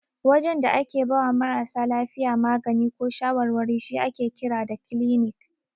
Wajen da ake bawa marasa lafiya magani ko shawarwari shi ake kira da kilinik.